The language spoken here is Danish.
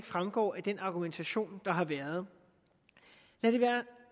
fremgår af den argumentation der har været lad det være